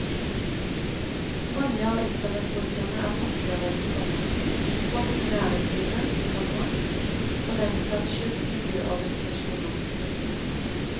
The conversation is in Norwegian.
Mange av internettbrukerne er forskere, komma folk i næringslivet, komma for den saks skyld miljøorganisasjoner. punktum